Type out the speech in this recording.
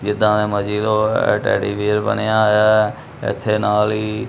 ਤੋਂ ਇਹ ਟੈਡੀਬਿਅਰ ਬਣਿਆ ਹੋਇਆ ਹੈ ਇੱਥੇ ਨਾਲ ਹੀ।